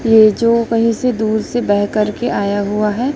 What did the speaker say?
ये जो कहीं से दूर से बह कर के आया हुआ है।